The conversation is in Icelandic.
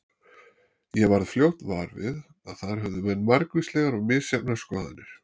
Ég varð fljótt var við að þar höfðu menn margvíslegar og misjafnar skoðanir.